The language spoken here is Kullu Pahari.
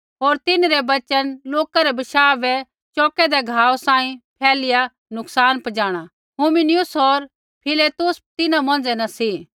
होर तिन्हरै वचना लोका रै बशाह बै चौकेदै घावा सांही फैलिया नुकसान पजाणा हुमिनयुस होर फिलेतुस तिन्हां मौंझ़ै न सी